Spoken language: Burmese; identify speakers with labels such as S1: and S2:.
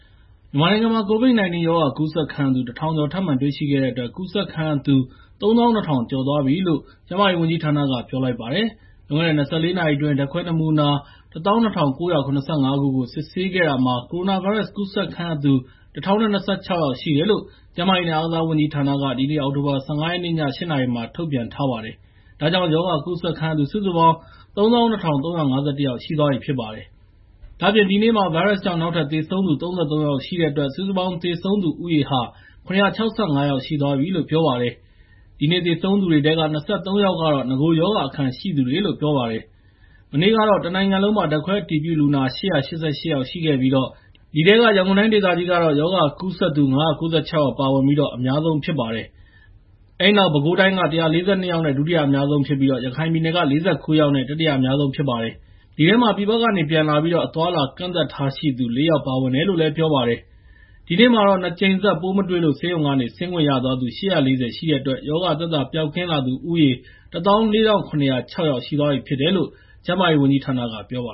S1: မြန်မာနိုင်ငံမှာ ကိုဗစ်-၁၉ ရောဂါကူးစက်ခံရသူ ၁,၀၀၀ ကျော်ထပ်မံတွေ့ရှိခဲ့တဲ့အတွက် ကူးစက်ခံရသူ ၃၂,၀၀၀ ကျော်သွားပြီလို့ ကျန်းမာရေးဝန်ကြီးဌာနက ပြောလိုက်ပါတယ်။ လွန်ခဲ့တဲ့ ၂၄ နာရီအတွင်း ဓာတ်ခွဲနမူနာ ၁၂,၉၇၅ ခုကို စစ်ဆေးခဲ့တာမှာ ကိုရိုနာဗိုင်းရပ်စ်ကူးစက်ခံရသူ ၁,၀၂၆ ယောက်ရှိတယ်လို့ ကျန်းမာရေးနဲ့ အားကစားဝန်ကြီးဌာနက ဒီနေ့ အောက်တိုဘာ ၁၅ ရက်နေ့ည ၈ နာရီမှာ ထုတ်ပြန်ထားပါတယ်။ ဒါကြောင့် ရောဂါကူးစက်ခံရသူ စုစုပေါင်း ၃၂,၃၅၁ ယောက်ရှိသွားပြီဖြစ်ပါတယ်။ ဒါ့အပြင် ဒီနေ့မှာ ဗိုင်းရပ်စ်ကြောင့် နောက်ထပ် သေဆုံးသူ ၃၃ ယောက်ရှိတဲ့အတွက် စုစုပေါင်း သေဆုံးသူ ဦးရေဟာ ၇၆၅ ယောက် ရှိသွားပြီဖြစ်တယ်လို့ ပြောပါတယ်။ ဒီနေ့ သေဆုံးသူတွေထဲက ၂၃ ယောက်ကတော့ နဂိုရောဂါအခံရှိသူတွေဖြစ်တယ်လို့ပြောပါတယ်။ မနေ့ကတော့ တနိုင်ငံလုံးမှာ ဓာတ်ခွဲအတည်ပြုလူနာ ၈၈၈ ယောက်ရှိခဲ့ပြီး အဲဒီထဲမှာ ရန်ကုန်တိုင်းဒေသကြီးကတော့ ရောဂါကူးစက်စက်သူ ၅၉၆ ဦး ပါဝင်ပြီး အများဆုံးဖြစ်ခဲ့ပါတယ်။ အဲဒီနောက် ပဲခူးတိုင်းက ၁၄၂ ယောက်နဲ့ ဒုတိယအများဆုံးဖြစ်ပြီး၊ ရခိုင်ပြည်နယ်က ၄၉ယောက်နဲ့ တတိယအများဆုံးဖြစ်ခဲ့ပါတယ်။ အဲဒီထဲမှာ ပြည်ပကနေ ပြန်လာပြီး အသွားအလာ ကန့်သတ်ထားရှိသူ လေး ယောက်လည်း ပါဝင်ပါတယ်။ ဒီနေ့မှာ ၂ ကြိမ်ဆက် ပိုးမတွေ့လို့ ဆေးရုံက ဆင်းခွင့်ရသူ ၈၄၀ ရှိတဲ့အတွက် ရောဂါသက်သာ ပျောက်ကင်းလာသူဦးရေ ၁၄,၇၀၆ ယောက်ရှိပြီ ဖြစ်တယ်လို့လည်း ကျန်း
S2: မာရေးဝန်ကြီးဌာနက ပြောပါ